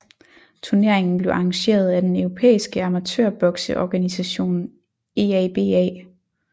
Turneringen blev arrangeret af den europæiske amatørbokseorganisation EABA